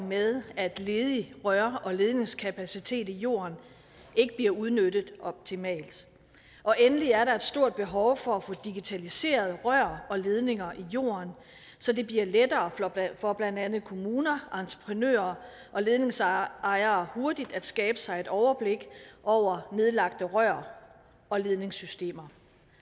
med at ledig rør og ledningskapacitet i jorden ikke bliver udnyttet optimalt endelig er der et stort behov for at få digitaliseret rør og ledninger i jorden så det bliver lettere for blandt andet kommuner entreprenører og ledningsejere hurtigt at skabe sig et overblik over nedlagte rør og ledningssystemer